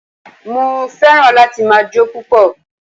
Mo fẹ́ràn láti ma jó púpọ̀